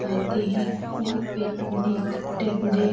आते ही यहां पे टॉनिक टैबलेट --